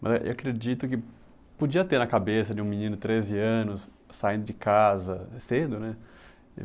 Mas eu acredito que podia ter na cabeça de um menino de treze anos, saindo de casa cedo, né?